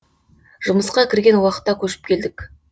жұмысқа кірген уақытта көшіп келдік